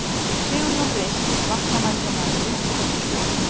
Sigurjón Rist vatnamælingamaður lýsti þessu svo: